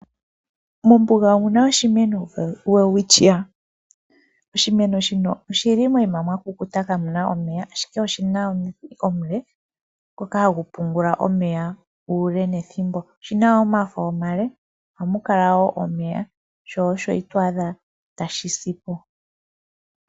Mombuga omuna oshimeno Welwitschia, oshimeno shino oshili noyi ma mwa kukuta ka muna sha omeya, ashike oshina omidhi omule ngoka hagu pungula omeya uule nethimbo, oshina woo omafo omale, ohamu kala woo omeya sho osho itwaadha tashi si po.